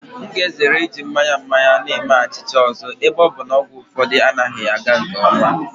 M ga-ezere iji mmanya mmanya na-eme achịcha ọzọ ebe ọ bụ na ọgwụ ụfọdụ anaghị aga nke ọma.